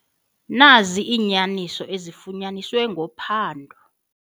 Nazi iinyaniso ezifunyaniswe ngophando.